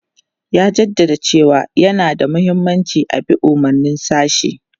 Ya jaddada cewa yana da mahimmanci a bi umarnin sashi.